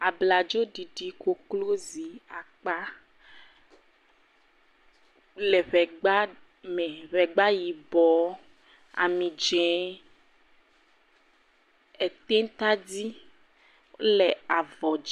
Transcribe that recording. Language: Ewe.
Abladzoɖiɖi, koklozi, akpa, le ŋegba me, ŋegba yibɔ, ami dzɛ, etɛ tadi kple avɔ dzi